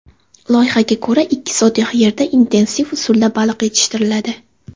Loyihaga ko‘ra, ikki sotix yerda intensiv usulda baliq yetishtiriladi.